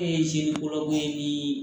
Ne ye jeli kuraw ye ni